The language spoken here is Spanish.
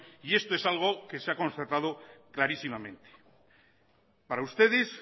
y esto es algo que se ha constatado clarísimamente para ustedes